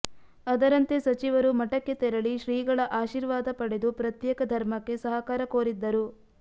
ಅದರಂತೆ ಸಚಿವರು ಮಠಕ್ಕೆ ತೆರಳಿ ಶ್ರೀಗಳ ಆಶೀರ್ವಾದ ಪಡೆದು ಪ್ರತ್ಯೇಕ ಧರ್ಮಕ್ಕೆ ಸಹಕಾರ ಕೋರಿದ್ದರು